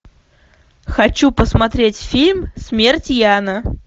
хочу посмотреть фильм смерть яна